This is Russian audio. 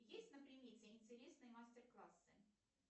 есть на примете интересные мастер классы